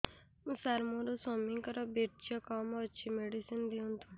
ସାର ମୋର ସ୍ୱାମୀଙ୍କର ବୀର୍ଯ୍ୟ କମ ଅଛି ମେଡିସିନ ଦିଅନ୍ତୁ